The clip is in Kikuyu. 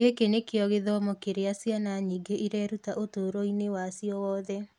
Gĩkĩ nĩ kĩo gĩthomo kĩrĩa ciana nyingĩ ireruta ũtũũro-inĩ wacio wothe.